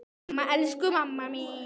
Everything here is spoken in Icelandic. Mamma, elsku mamma mín.